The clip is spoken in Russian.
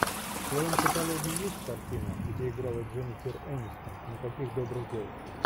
в твоем каталоге есть картина где играла дженнифер энистон никаких добрых дел